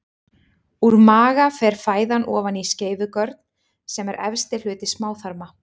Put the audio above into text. Úr maga fer fæðan ofan í skeifugörn sem er efsti hluti smáþarma.